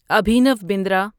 Abhinav Bandra